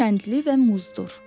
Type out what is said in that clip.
Kəndli və Muzdur.